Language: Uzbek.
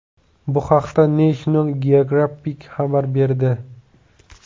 Bu haqda National Geographic xabar berdi .